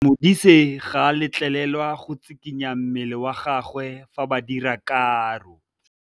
Modise ga a letlelelwa go tshikinya mmele wa gagwe fa ba dira karô.